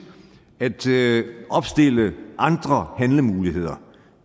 at opstille andre handlemuligheder